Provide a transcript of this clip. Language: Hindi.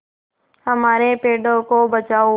हमारे पेड़ों को बचाओ